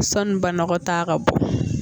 Sanni banakɔtaa ka bɔ